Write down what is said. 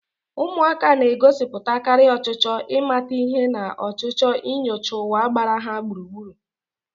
Ụmụaka na-egosipụtakarị ọchịchọ ịmata ihe na ọchịchọ inyocha ụwa gbara ha gburugburu.